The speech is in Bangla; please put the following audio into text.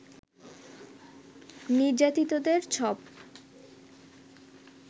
নির্যাতিতদের ছব